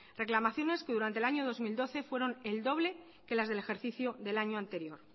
reclamaciones que durante el año dos mil doce fueron el doble que las del ejercicio del año anterior